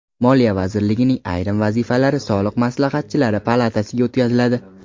Moliya vazirligining ayrim vazifalari Soliq maslahatchilari palatasiga o‘tkaziladi.